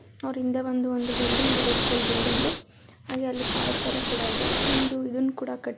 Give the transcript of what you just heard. ಅವರಿಂದೆ ಒಂದು ಬಿಲ್ಡಿಂಗ್ ಇದೆ school building ಹಾಗೆ ಆಲ್ಲಿ ಪಾರ್ಕ್ ತರ ಕೂಡ ಇದೆ ಒಂದು ಇದನ್ನ ಕೂಡ ಕಟ್ಟಿ --